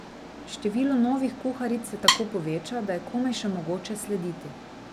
Število novih kuharic se tako poveča, da je komaj še mogoče slediti.